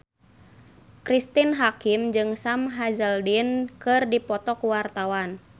Cristine Hakim jeung Sam Hazeldine keur dipoto ku wartawan